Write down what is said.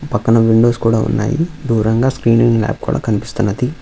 పక్కన విండోస్ కూడా ఉన్నాయి. దూరంగా స్క్రీనింగ్ నా కూడా కనిపిస్తున్నది.